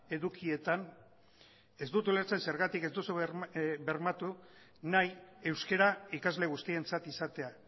edukietan ez dut ulertzen zergatik ez duzu bermatu nahi euskara ikasle guztientzat izatea